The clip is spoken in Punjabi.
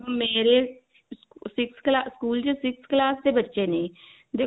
ਮੇਰੇ ਸਕੂਲ six class ਸਕੂਲ ਚ six class ਬੱਚੇ ਨੇ